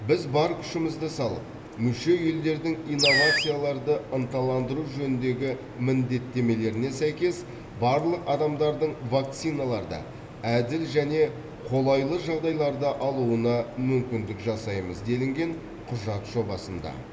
біз бар күшімізді салып мүше елдердің инновацияларды ынталандыру жөніндегі міндеттемелеріне сәйкес барлық адамдардың вакциналарды әділ және қолайлы жағдайларда алуына мүмкіндік жасаймыз делінген құжат жобасында